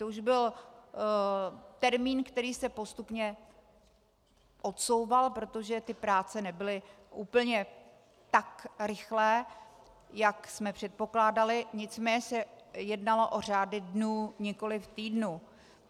To už byl termín, který se postupně odsouval, protože ty práce nebyly úplně tak rychlé, jak jsme předpokládali, nicméně se jednalo o řády dnů, nikoliv týdnů.